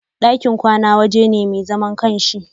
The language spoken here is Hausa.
ɗakin kwana waje ne mai zaman ƙanshi.